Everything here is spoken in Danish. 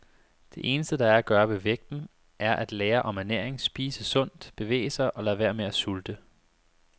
Det eneste, der er at gøre ved vægten, er at lære om ernæring, spise sundt, bevæge sig og lade være med at sulte.